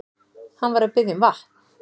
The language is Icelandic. Hann var að biðja um vatn.